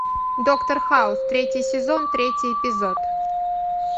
доктор хаус третий сезон третий эпизод